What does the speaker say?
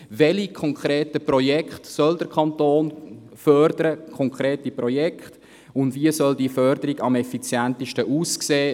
Welche konkreten Projekte soll der Kanton fördern, und wie ist diese Förderung am effizientesten möglich?